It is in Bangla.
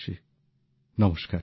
আমার প্রিয় দেশবাসী নমস্কার